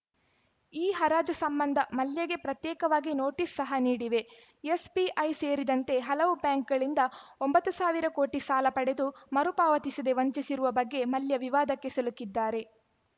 ಈ ಹರಾಜು ಸಂಬಂಧ ಮಲ್ಯಗೆ ಪ್ರತ್ಯೇಕವಾಗಿ ನೋಟಿಸ್‌ ಸಹ ನೀಡಿವೆ ಎಸ್‌ಬಿಐ ಸೇರಿದಂತೆ ಹಲವು ಬ್ಯಾಂಕ್‌ಗಳಿಂದ ಒಂಬತ್ತು ಸಾವಿರ ಕೋಟಿ ಸಾಲ ಪಡೆದು ಮರು ಪಾವತಿಸದೆ ವಂಚಿಸಿರುವ ಬಗ್ಗೆ ಮಲ್ಯ ವಿವಾದಕ್ಕೆ ಸಿಲುಕಿದ್ದಾರೆ